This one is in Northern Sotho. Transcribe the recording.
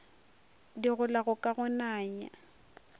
di golago ka go nanya